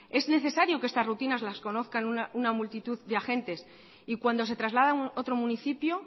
es necesario que estas rutinas las conozcan una multitud de agentes y cuando se traslada a otro municipio